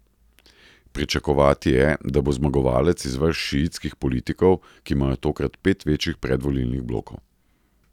Pričakovati je, da bo zmagovalec iz vrst šiitskih politikov, ki imajo tokrat pet večjih predvolilnih blokov.